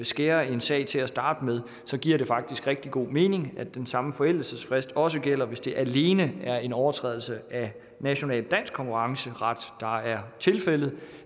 skærer en sag til at starte med så giver det faktisk rigtig god mening at den samme forældelsesfrist også gælder hvis det alene er en overtrædelse af national dansk konkurrenceret der er tilfældet